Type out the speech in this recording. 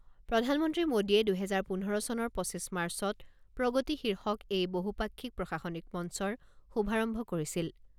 প্ৰধানমন্ত্ৰী মোদীয়ে দুহেজাৰ পোন্ধৰ চনৰ পঁচিছ মাৰ্চত প্ৰগতি শীৰ্ষক এই বহুপাক্ষিক প্ৰশাসনিক মঞ্চৰ শুভাৰম্ভ কৰিছিল।